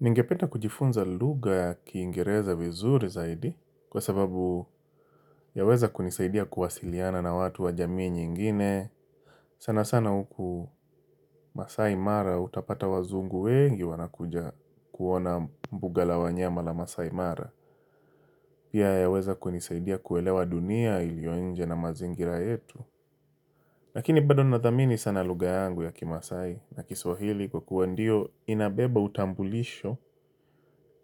Ningependa kujifunza lugha ya kiingereza vizuri zaidi kwa sababu ya weza kunisaidia kuwasiliana na watu wa jamii nyingine. Sana sana huku masai mara utapata wazungu wengi wanakuja kuona mbuga la wanyama la masai mara. Pia ya weza kunisaidia kuelewa dunia iliyo nje na mazingira yetu. Lakini bado nathamini sana lugha yangu ya kimasai na kiswahili kwa kuwa ndiyo inabeba utambulisho